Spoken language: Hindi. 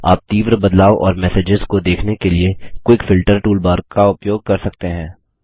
आप तीव्र बदलाव और मैसेसेज को देखने के लिए क्विक फिल्टर टूलबार का उपयोग कर सकते हैं